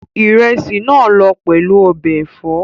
Ìrẹsì náà lọ pẹ̀lú ọbẹ̀ ẹ̀fọ́